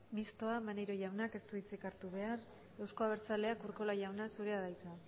mistoa maneiro jaunak ez du hitzik hartu behar euzko abertzaleak urkola jauna zurea da hitza